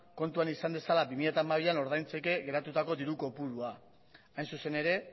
kontuan izan dezala bi mila hamabian ordaintzeke geratutako diru kopurua hain zuzen ere